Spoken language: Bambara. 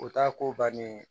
O t'a ko bannen ye